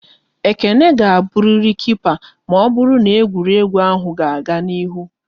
Ekene ga-aburiri Kipa maọbụru n'egwuregwu ahụ ga-aga n'ihu!